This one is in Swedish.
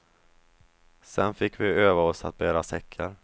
Sen fick vi öva oss att bära säckar.